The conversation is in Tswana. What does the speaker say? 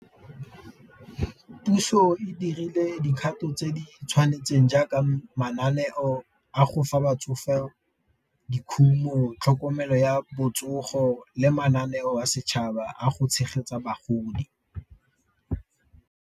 Puso e dirile dikgato tse di tshwanetseng jaaka mananeo a go fa batsofe dikhumo, tlhokomelo ya botsogo le mananeo a setšhaba a go tshegetsa bagodi.